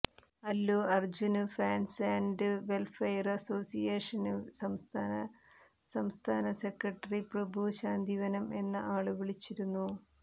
Allu Arjun fans and welfare association സംസ്ഥാന സംസ്ഥാന secretary Prabhu Santhivanam എന്ന ആള് വിളിച്ചിരുന്നു